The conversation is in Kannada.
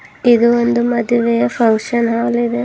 ಇದು ಒಂದು ಮದುವೆಯ ಫಂಕ್ಷನ್ ಹಾಲ್ ಇದೆ.